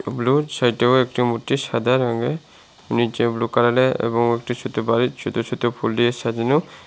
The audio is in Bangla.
ব্লুর সাইডেও একটি মূর্তি সাদা রঙের নীচে ব্লু কালারের এবং একটি ছোত বাড়ি ছোত ছোত ফুল দিয়ে সাজানো।